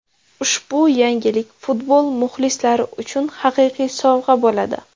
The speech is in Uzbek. Ushbu yangilik futbol muxlislari uchun haqiqiy sovg‘a bo‘ladi.